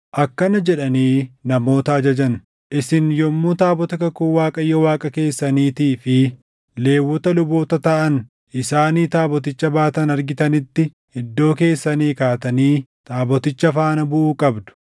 akkana jedhanii namoota ajajan: “Isin yommuu taabota kakuu Waaqayyo Waaqa keessaniitii fi Lewwota luboota taʼan isaanii taaboticha baatan argitanitti iddoo keessanii kaatanii taaboticha faana buʼuu qabdu.